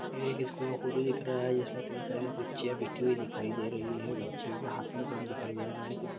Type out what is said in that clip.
ये एक स्कूल का फोटो दिख रहा है इसमें कई सारी बच्चियााँ बैठीं हुई दिखाई दे रही है बच्चियों के हाथ में गम दिखाई दे रहा है कुछ।